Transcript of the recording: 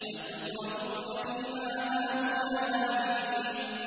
أَتُتْرَكُونَ فِي مَا هَاهُنَا آمِنِينَ